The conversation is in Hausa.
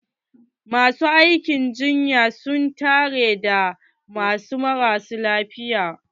Masu aikin jinya su n tare da wasu marasa lafiya.